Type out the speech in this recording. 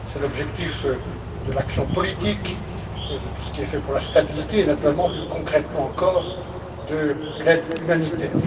C'est l'objectif de l'action politique, de tout ce qui est fait pour la stabilité et naturellement, plus concrètement encore, de l'aide humanitaire.